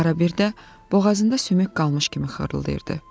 Arabir də boğazında sümük qalmış kimi xırıldayırdı.